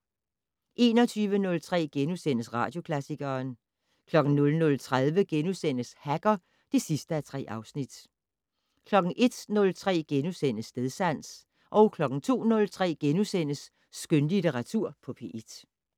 21:03: Radioklassikeren * 00:30: Hacker (3:3)* 01:03: Stedsans * 02:03: Skønlitteratur på P1 *